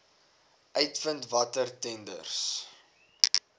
uitvind watter tenders